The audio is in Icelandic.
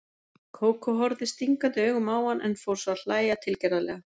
Kókó horfði stingandi augum á hann, en fór svo að hlæja tilgerðarlega.